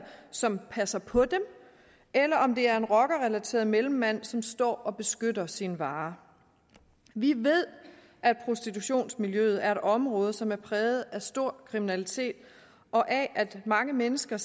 som passer på dem eller om det er en rockerrelateret mellemmand som står og beskytter sin vare vi ved at prostitutionsmiljøet er et område som er præget af stor kriminalitet og af at mange mennesker